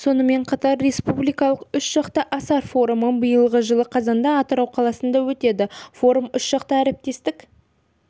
сонымен қатар республикалық үш жақты асар форумы биылғы жылы қазанда атырау қаласында өтеді форум үшжақты әріптестік